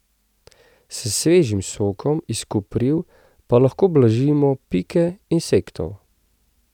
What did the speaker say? S svežim sokom iz kopriv pa lahko blažimo pike insektov.